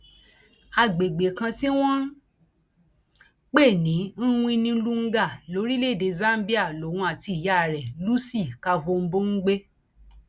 àgbègbè kan tí wọn ń pè ní mwinnilunga lórílẹèdè zambia lòun àti ìyá rẹ lucy kavombo ń gbé